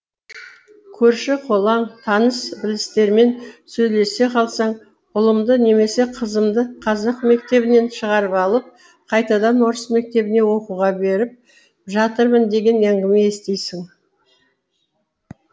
көрші қолаң таныс білістермен сөйлесе қалсаң ұлымды немесе қызымды қазақ мектебінен шығарып алып қайтадан орыс мектебіне оқуға беріп жатырмын деген әңгіме естисің